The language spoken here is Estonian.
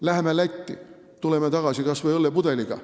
Lähme Lätti ja tuleme sealt tagasi kas või õllepudeliga.